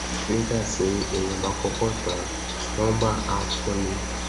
nígbà tí èèyàn bá kọkọ tàn án roomba á fúnni